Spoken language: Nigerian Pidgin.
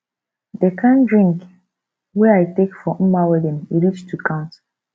the kin drink wey i take for mma wedding e reach to count